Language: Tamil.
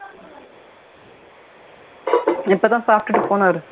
இப்போ தான் சாப்பிட்டுட்டு போனாரு